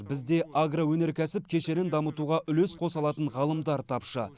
бізде агроөнеркәсіп кешенін дамытуға үлес қоса алатын ғалымдар тапшы